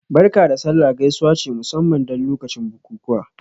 "Barka da sallah" gaisuwa ce musamman don lokacin bukukuwa